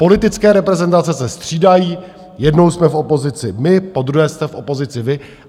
Politické reprezentace se střídají, jednou jsme v opozici my, podruhé jste v opozici vy.